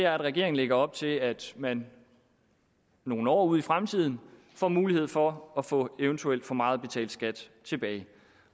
regeringen lægger op til at man nogle år ud i fremtiden får mulighed for at få eventuelt for meget betalt skat tilbage